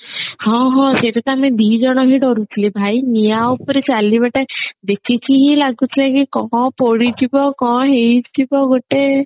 ହଁ ହଁ ସେଟା ତ ଆମେ ଦିଜଣ ହିଁ ଡରୁଥିଲୁ ଭାଇ ନିଆଁ ଉପରେ ଚାଲିବାଟା ଦେଖିକି ହିଁ ଲାଗୁଥାଏ କି କଣ ପୋଡିଯିବ କଣ ହେଇଯିବ ଗୋଟେ